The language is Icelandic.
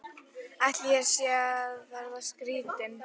Ætli ég sé að verða skrýtin.